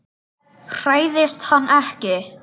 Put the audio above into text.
Hræðist hann ekki.